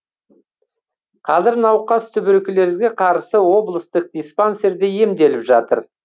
қазір науқас туберкулезге қарсы облыстық диспансерде емделіп жатыр